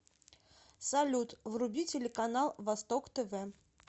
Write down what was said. салют вруби телеканал восток тв